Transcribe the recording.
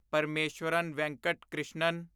Parameswaran Venkat Krishnan